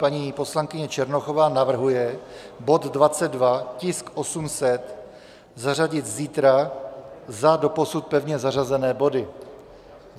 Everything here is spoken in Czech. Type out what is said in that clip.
Paní poslankyně Černochová navrhuje bod 22, tisk 800, zařadit zítra za doposud pevně zařazené body.